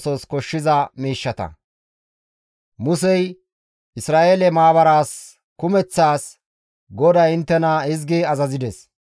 Musey Isra7eele maabaraas kumeththaas, «GODAY inttena hizgi azazides.